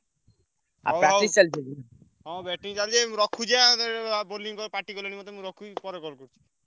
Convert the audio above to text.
ହଁ batting ଚାଲିଛି ମୁଁ ରଖୁଛି ମତେ ପାଟି କଲେଣି ମତେ ମୁଁ ରଖୁଛି ପରେ call କରୁଛି।